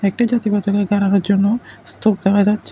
একটি জন্য স্তূপ দেখা যাচ্ছে।